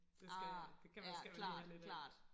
Det skal det kan man skal man lige have lidt af